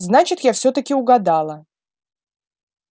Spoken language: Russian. значит я всё-таки угадала